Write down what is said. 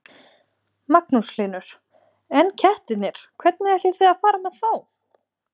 Magnús Hlynur: En kettirnir, hvernig ætlið þið að fara með þá?